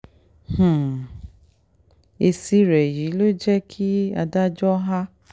um èsì rẹ yìí ló jẹ́ kí adájọ́ á